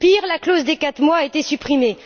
Pire, la clause des quatre mois a été supprimée.